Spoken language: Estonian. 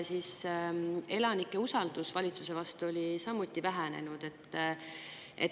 Elanike usaldus valitsuse vastu on samuti vähenenud.